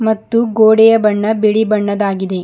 ಮತ್ತು ಗೋಡೆಯ ಬಣ್ಣ ಬಿಳಿ ಬಣ್ಣದಾಗಿದೆ.